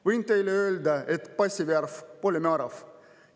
Võin teile öelda, et passi värv pole määrav.